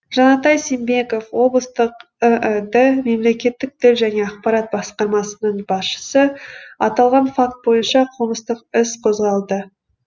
жанатай сембеков облыстық іід мемлекеттік тіл және ақпарат басқармасының басшысы аталған факт бойынша қылмыстық іс қозғалды